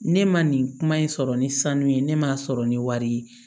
Ne ma nin kuma in sɔrɔ ni sanu ye ne ma sɔrɔ ni wari ye